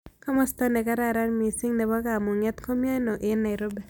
Komosta ne gararan misiing' ne po komung'eet ko mi aino eng' nairobi